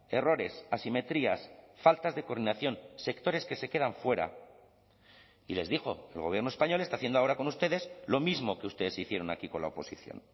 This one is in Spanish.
errores asimetrías faltas de coordinación sectores que se quedan fuera y les dijo el gobierno español está haciendo ahora con ustedes lo mismo que ustedes hicieron aquí con la oposición